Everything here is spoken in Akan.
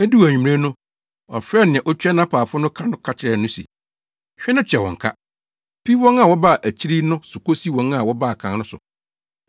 “Eduu anwummere no, ɔfrɛɛ nea otua nʼapaafo no ka no ka kyerɛɛ no se, ‘Hwɛ na tua wɔn ka, fi wɔn a wɔbaa akyiri yi no so kosi wɔn a wɔbaa kan no so.’